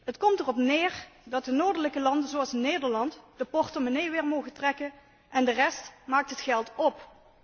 Het komt erop neer dat de noordelijke landen zoals Nederland, de portemonnee weer mogen trekken en de rest maakt het geld op.